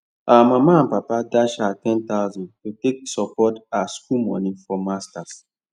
her mama and papa dash her ten thousand to take take support her school money for masters